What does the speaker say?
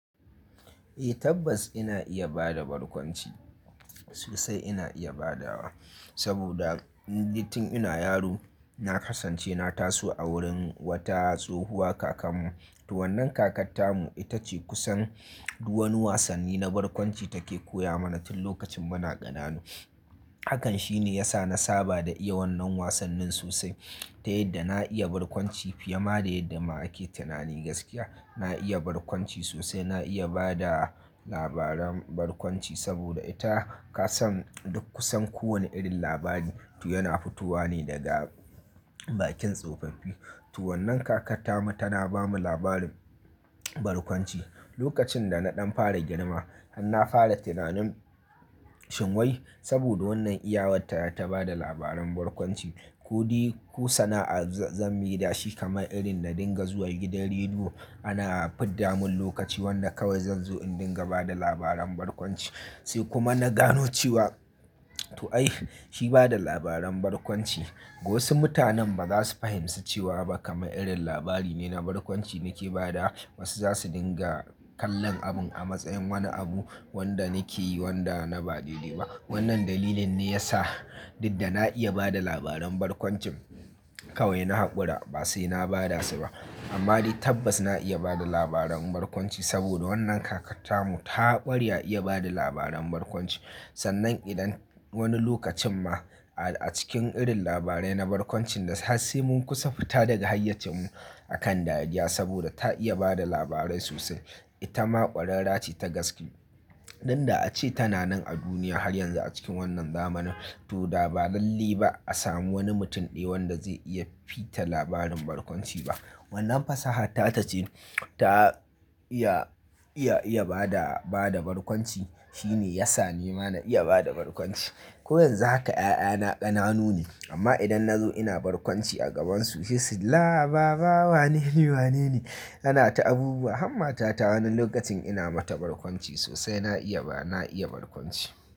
Eh tabbas ina iya bada barkwanci sosai ina iya bada wa saboda nitin ina yaro na kasance na taso a wurin wata tsohuwa kakanmu. To wannan kakarta mu ita ce kusan duk wani wasanni na barkwanci take koya mana tin lokacin muna ƙananu. Hakan shine ya sa na saba da iya wannan wasannin sosai. Ta yadda na iya barkwanci fiye ma da yadda ma ake tunani gaskiya. Na iya barkwanci sosai, na iya bada labaran barkwanci saboda ita kasan duk kusan kowane irin labari. To yana fitowa ne daga bakin tsofaffi. To wannan kakarta mu tana bamu labarin barkwanci. Lokacin da na ɗan fara girma har na fara tunanin shin wai saboda wannan iyawarta ta bada labaran barkwanci ko de-- ko sana'ar zan mai da shi kamar irin na dinga zuwa gidan rediyo. Ana fidda mun lokaci wanda kawai zan zo in dinga bada labaran barkwanci. Sai kuma na gano cewa to ai shi bada labaran barkwanci. Wasu mutanen ba za su fahimci cewa ba kamar irin labari ne na barkwanci nake badawa. Wasu za su dinga kallon abun a matsayin wani abu wanda nake yi wanda na ba dai dai ba. Wannan dalilin ne ya sa duk da na iya bada labaran barkwancin kawai na haƙura ba sai na bada su ba. Amma dai tabbas na iya bada labaran barkwanci saboda wannan kakarta mu ta ƙware a iya bada labaran barkwanci. Sannan idan wani lokacin ma a cikin irin labarai na barkwancin da har sai mun kusa fita daga hayyacin mu akan dariya saboda ta iya bada labarai sosai. Ita ma ƙwararra ce ta gaske. Dan da ace tana nan a duniya har yanzu a cikin wannan zamanin to da ba lallaiba ba a samu wani mutum ɗaya wanda zai iya fita labarin barkwanci ba. Wannan fasaha ta ta ce ta iya, iya, iya bada, bada barkwanci. Shi ne ya sa ni ma na iya bada barkwanci. Ko yanzu haka 'ya'ya na ƙananu ne amma idan na zo ina barkwanci a gabansu sai su "Laa baba wanene, wanene? Ana ta abubuwa." Har matata wani lokacin ina mata barkwanci sosai na iya ba, na iya barkwanci.